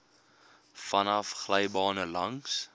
vanaf glybane langs